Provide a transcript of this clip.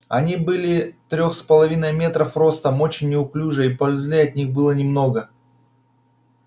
они были трёх с половиной метров ростом очень неуклюжие и пользы от них было немного